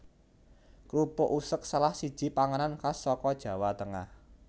Krupuk useg salah siji panganan khas saka Jawa Tengah